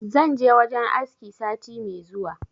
Zan je wajen aski sati me zuwa